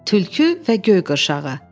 Tülkü və göy qırşağı.